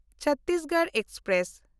Chhattisgarh express